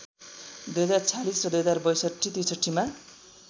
२०४६ र २०६२ ६३ मा